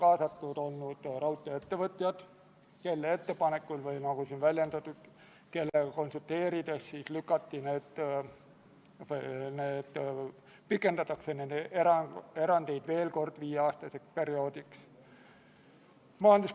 Austatud Riigikogu, panen hääletusele Vabariigi Valitsuse esitatud Riigikogu otsuse "Kaitseväe kasutamine Eesti riigi rahvusvaheliste kohustuste täitmisel Ühendkuningriigi ühendekspeditsiooni koosseisus" eelnõu 71.